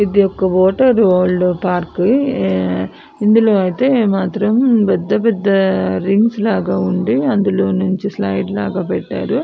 ఇది ఒక water world park ఇందిలో ఐతే మాత్రం పెద్ద పెద్ద రింగ్స్ లాగా ఉండి అందులో నుచి స్లయిడ్ లాగ పెట్టారు --